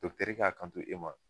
Dɔkutɛri k'a kanto e ma